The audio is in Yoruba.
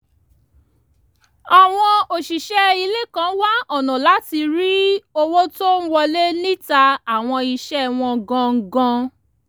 àwọn òṣìṣẹ́ ilé kan wá ọ̀nà láti rí owó tó ń wọlé níta àwọn iṣẹ́ wọn gangan